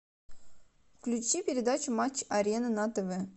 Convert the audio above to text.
включи передачу матч арена на тв